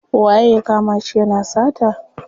Waye ya kama shi yana sata?